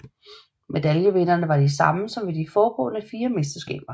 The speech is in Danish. Medaljevinderne var de samme som ved de foregående fire mesterskaber